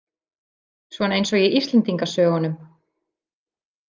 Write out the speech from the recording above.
Svona eins og í Íslendingasögunum.